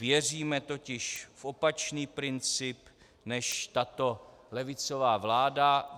Věříme totiž v opačný princip než tato levicová vláda.